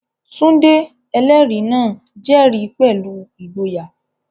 Tunde, ẹlẹ́rìí náà, jẹ́rìí pẹ̀lú ìgboyà.